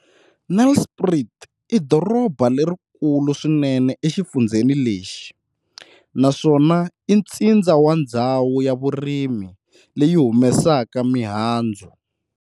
Nelspruit i doroba lerikulu swinene exifundzheni lexi naswona i ntsindza wa ndzhawu ya vurimi leyi humesaka mihandzu.